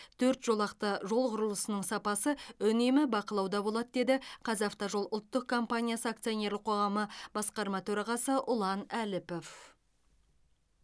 төрт жолақты жол құрылысының сапасы үнемі бақылауда болады деді қазавтожол ұлттық компаниясы акционерлік қоғамы басқарма төрағасы ұлан әліпов